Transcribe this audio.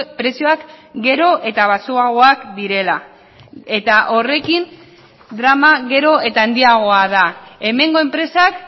prezioak gero eta baxuagoak direla eta horrekin drama gero eta handiagoa da hemengo enpresak